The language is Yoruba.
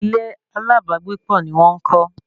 Ilé alábàágbépọ̀ ni wọ́n ń kọ́